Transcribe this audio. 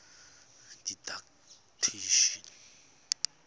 didactician